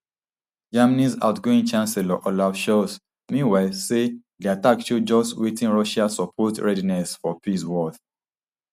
germanys outgoing chancellor olaf scholz meanwhile say di attack show just wetin russia supposed readiness for peace worth